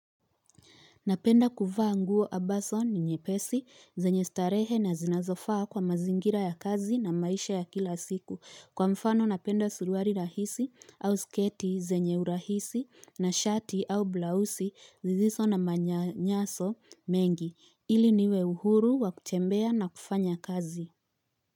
Napenda kuvaa nguo ambazo ni nyepesi zenye starehe na zinazofaa kwa mazingira ya kazi na maisha ya kila siku. Kwa mfano napenda suruali rahisi au sketi zenye urahisi na shati au blausi zisizo na manyanyaso mengi ili niwe uhuru wa kutembea na kufanya kazi.